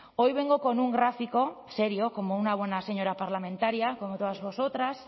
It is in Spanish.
hoy vengo con un gráfico serio como una buena señora parlamentaria como todas vosotras